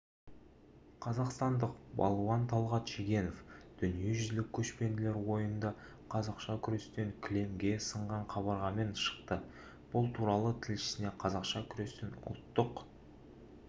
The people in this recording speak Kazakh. қазақстандық балуан талғат шегенов дүниежүзілік көшпенділер ойынында қазақша күрестен кілемге сынған қабырғамен шықты бұл туралы тілшісіне қазақша күрестен ұлттық штаттық команданың